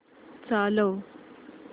चालव